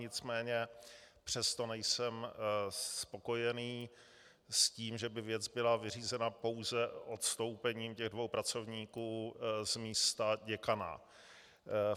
Nicméně přesto nejsem spokojený s tím, že by věc byla vyřízena pouze odstoupením těch dvou pracovníků z místa děkana.